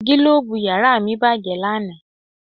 Gílóòbù yàrá mi bàjẹ́ lánà